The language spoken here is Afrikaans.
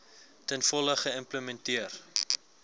ten volle geïmplementeer